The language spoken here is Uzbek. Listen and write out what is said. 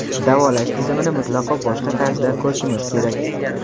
davolash tizimini mutlaqo boshqa tarzda ko‘rishimiz kerak.